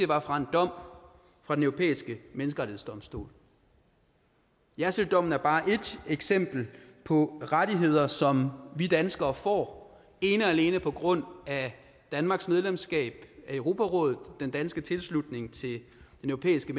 var for en dom fra den europæiske menneskerettighedsdomstol jersilddommen er bare ét eksempel på rettigheder som vi danskere får ene og alene på grund af danmarks medlemskab af europarådet og den danske tilslutning til den europæiske